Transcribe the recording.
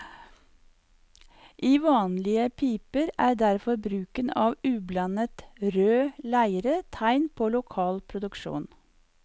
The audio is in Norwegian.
I vanlige piper er derfor bruken av ublandet rød leire tegn på lokal produksjon.